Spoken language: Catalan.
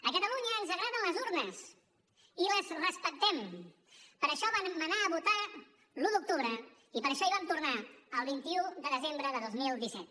a catalunya ens agraden les urnes i les respectem per això vam anar a votar l’un d’octubre i per això hi vam tornar el vint un de desembre de dos mil disset